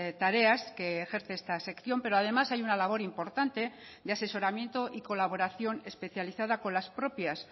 tareas que ejerce esta sección pero además hay una labor importante de asesoramiento y colaboración especializada con las propias